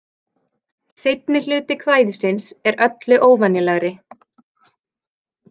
Seinni hluti kvæðisins er öllu óvenjulegri.